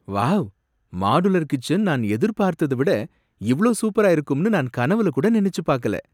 Wow! Modular kitchen நான் எதிர்பாத்தத விட இவ்ளோ சூப்பரா இருக்கும்னு நான் கனவுல கூட நனைச்சு பாக்கல!